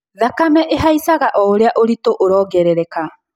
Thakame ĩhaicaga oũrĩa ũritũ ũrongerereka